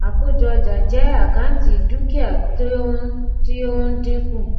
àkójọ ọjà jẹ àkáǹtì dúkìá tí ó ń tí ó ń dínkù